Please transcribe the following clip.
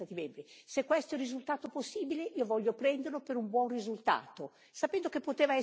Se questo è il risultato possibile, io voglio prenderlo per un buon risultato, sapendo che poteva essere migliore.